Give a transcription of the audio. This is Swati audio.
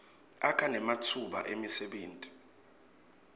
akha nematfuba emsebenti